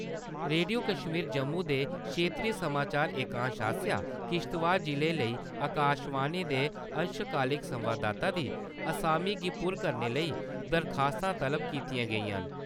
Radio Kashmir Jammu दे खेत्तरी समाचार एकांश आसेआ किश्तवाड़ जिले लेई आकाशवाणी दे अंशकालिक संवाददाता दी असामी गी पुर करने लेई दरखास्तां तलब कीतियां गेइयां न।